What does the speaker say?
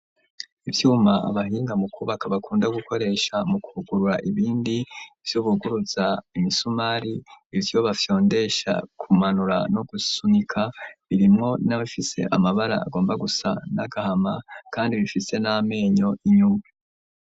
Ivyuma abahinga mu kubaka bakunda gukoresha mu kugurura ibindi vyubuguruza imisumari ibyo bafyondesha kumanura no gusunika birimwo n'abafise amabara agomba gusa n'agahama kandi bifitse n'amenyo inyuma.